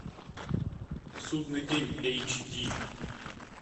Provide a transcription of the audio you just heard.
судный день эйч ди